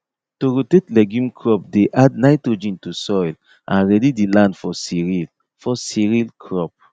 to rotate legume crop dey add nitrogen to soil and ready the land for cereal for cereal crop